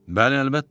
Bəli, əlbəttə.